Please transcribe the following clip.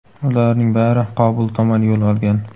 Ularning bari Qobul tomon yo‘l olgan.